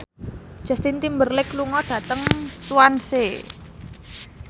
Justin Timberlake lunga dhateng Swansea